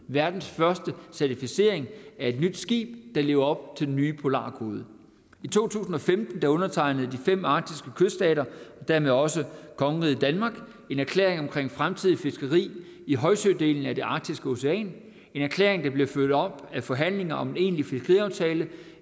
verdens første certificering af et nyt skib der lever op til den nye polarkode i to tusind og femten gav undertegnede de fem arktiske kyststater og dermed også kongeriget danmark en erklæring om fremtidigt fiskeri i højsødelen af det arktiske ocean en erklæring der blev fulgt op af forhandlinger om en egentlig fiskeriaftale